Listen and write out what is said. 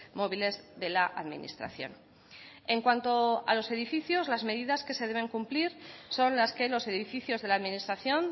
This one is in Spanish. móviles de la administración en cuanto a los edificios las medidas que se deben cumplir son las que los edificios de la administración